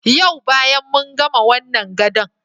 Yau bayan mun gama wannan gadon.